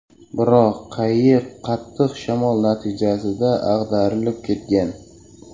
Biroq qayiq qattiq shamol natijasida ag‘darilib ketgan.